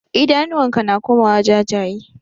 Idanuwan ka na komawa jajye.